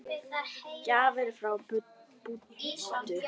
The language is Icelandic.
Gjafir frá Búddu.